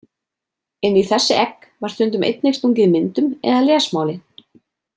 Inn í þessi egg var stundum einnig stungið myndum eða lesmáli.